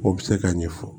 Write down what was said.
O bɛ se ka ɲɛfɔ